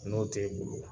N'o t'e bolo